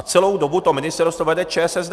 A celou dobu to ministerstvo vede ČSSD.